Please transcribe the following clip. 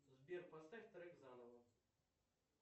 сбер поставь трек заново